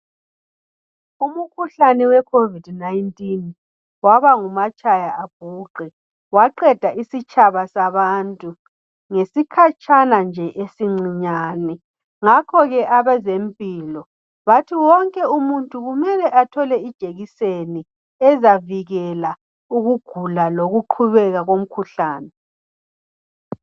Umkhuhlani we COVID19 waba ngumatshaya abhuqe. Waqeda isitshaba sabantu ngesikhatshana nje esincinyane. Ngakhoke abezempilo bathi wonke umuntu kumele athole ijekiseni ezavikela ukugula lokuqhubeka komkhuhlani.